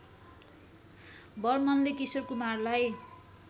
बर्मनले Kishore कुमारलाई